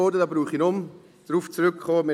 Darauf brauche ich nicht mehr zurückzukommen.